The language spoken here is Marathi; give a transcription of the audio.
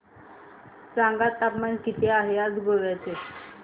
सांगा तापमान किती आहे आज गोवा चे